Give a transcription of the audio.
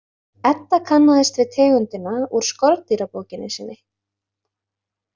Edda kannaðist við tegundina úr skordýrabókinni sinni.